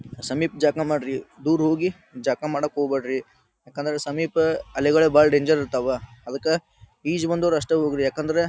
ಸಮೀಪ ಜಳ್ಕ ಮಾಡ್ರಿ ದೂರ್ ಹೋಗಿ ಜಳಕ ಮಾಡೋಕ್ ಹೋಗಬ್ಯಾಡ್ರಿ. ಯಾಕಂದ್ರ ಸಮೀಪ ಅಲೆಗಳು ಬಹಳ ಡೇಂಜರ್ ಇರ್ತಾವ. ಅದಕ್ಕ ಈಜ್ ಬಂದವ್ರ್ ಅಷ್ಟೇ ಹೋಗಿ ಯಾಕಂದ್ರ--